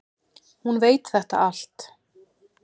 Hún veit þetta allt.